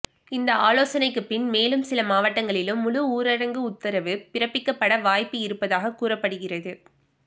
இந்த ஆலோசனைக்கு பின் மேலும் சில மாவட்டங்களிலும் முழு ஊரடங்கு உத்தரவு பிறப்பிக்கப்பட வாய்ப்பு இருப்பதாக கூறப்படுகிறது